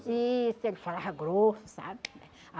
Isso, ele falava grosso, sabe?